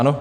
Ano?